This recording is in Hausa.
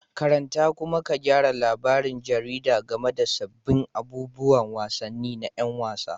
Karanta kuma ka gyara labarin jaridar game da sabbin abubuwan wasanni na 'yan wasa